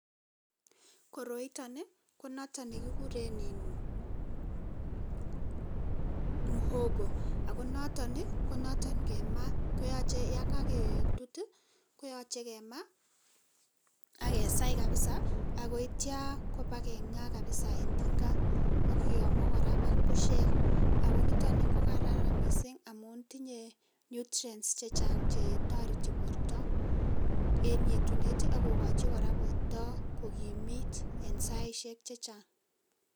Koroitoni ko noton nekikure um muhogo ako noton, ko noton nkema koyoche yonkaketut koyoche kema akesai kapisa akoityo kopa keng'a kapisa en tinga akiyomu kora ak pushek ako nitoni kokararan mising amun tinye nutrients chechang chetoreti porto en yetunet ak kokochi kora porto kokimit en saishek chechang.